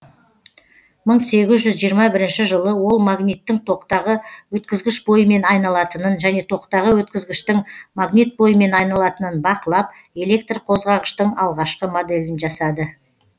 мың сегіз жүз жиырма бірінші жылы ол магниттің токтағы өткізгіш бойымен айналатынын және токтағы өткізгіштің магнит бойымен айналатынын бақылап электр қозғағыштың алғашқы моделін жасады